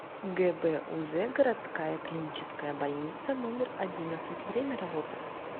гбуз городская клиническая больница номер одиннадцать время работы